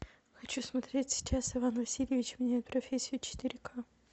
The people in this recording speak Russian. хочу смотреть сейчас иван васильевич меняет профессию четыре ка